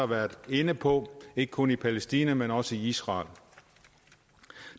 været inde på ikke kun i palæstina men også i israel